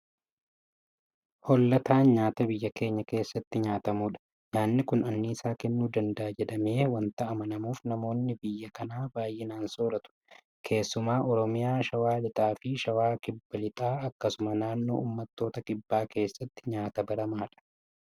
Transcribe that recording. Hoollataan nyaata biyya keenya keessatti nyaatamudha. Nyaanni kun anniisaa kennuu danda'a jedhamee waanta amanamuuf namoonni biyya kanaa baay'inaan soorratu. Keessumaa Oromiyaa Shawaa lixaafi Shawaa kibba lixaatti akkasumas naannoo uummattoota kibbaa keessatti nyaata baramaadha.